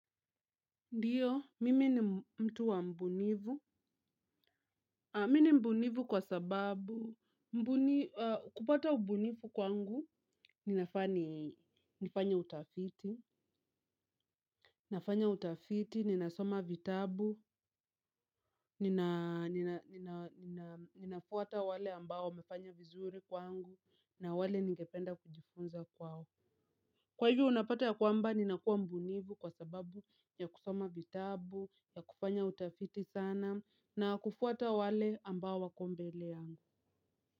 Ndiyo, mimi ni mtu wa ubunifu. Mimi ni mbunifu kwa sababu. Kupata ubunifu kwangu, ninafaa nifanye utafiti. Nafanya utafiti, ninasoma vitabu, ninafuata wale ambao wamefanya vizuri kwangu, na wale ningependa kujifunza kwao. Kwa hivyo unapata ya kwamba ninakuwa mbunifu kwa sababu ya kusoma vitabu, ya kufanya utafiti sana. Na kufuata wale ambao wako mbele yangu.